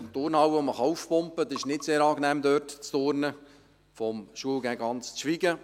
Die Turnhalle wird aufgepumpt, und es ist nicht sehr angenehm, dort zu turnen, vom Unterrichten zu schweigen.